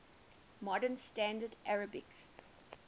modern standard arabic